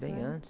Bem antes.